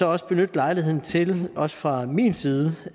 også benytte lejligheden til også fra min side